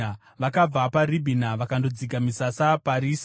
Vakabva paRibhina vakandodzika misasa paRisa.